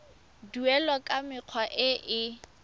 duelwa ka mekgwa e e